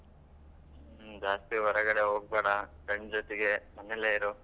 ಹ್ಮ್ ಜಾಸ್ತಿ ಹೊರಗಡೆ ಹೋಗ್ಬೇಡ friends ಜೊತೆಗೇ ಮನೆಯಲ್ಲೇ ಇರು.